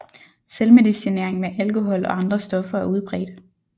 Selvmedicinering med alkohol og andre stoffer er udbredt